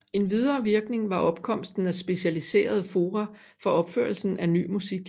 En videre virkning var opkomsten af specialiserede fora for opførelse af ny musik